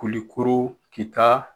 Kulikoro, Kita